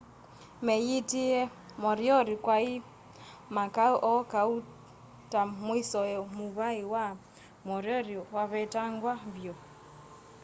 meeyitie moriori kwai makau o kauta na mwisowe muvai wa moriori wavetangwa vyu